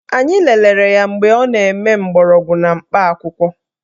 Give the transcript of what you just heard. Anyị lelere ya mgbe ọ na-eme mgbọrọgwụ na mkpa akwụkwọ